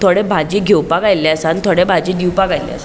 थोड़े भाजी घेवपाक आयले आसात आणि थोड़े भाजी दिवपाक आयले आसात.